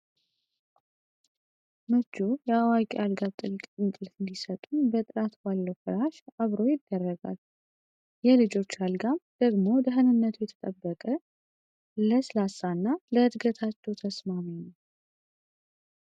ምቹ የአዋቂ አልጋ ጥልቅ እንቅልፍ እንዲሰጡን በጥራት ባለው ፍራሽ አብሮ ይደረጋል። የልጆች አልጋም ደግሞ ደህንነቱ የተጠበቀ፣ ለስላሳ እና ለዕድገታቸው ተስማሚ ነው።